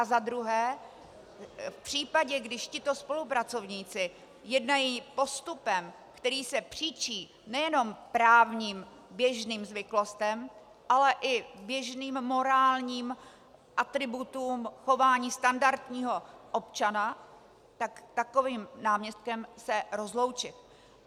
A za druhé, v případě, když tito spolupracovníci jednají postupem, který se příčí nejenom právním běžným zvyklostem, ale i běžným morálním atributům chování standardního občana, tak s takovým náměstkem se rozloučit.